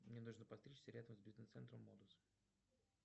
мне нужно подстричься рядом с бизнес центром модус